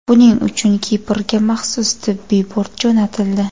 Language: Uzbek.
Buning uchun Kiprga maxsus tibbiy bort jo‘natildi.